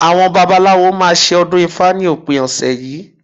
Àwọn babaláwo máa ṣe ọdún ifá ní òpin ọ̀sẹ̀ yìí